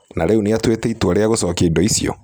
Na rĩu nĩ atuĩte itua rĩa gũcokia indo icio.